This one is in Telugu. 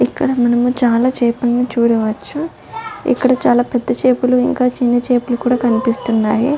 ఇక్కడ మనము చాలా చాపలను చూడవచ్చు. ఇక్కడ చాలా పెద్ద చేపలు ఇంకా చిన్న చేపలు కూడా కనిపిస్తున్నాయి.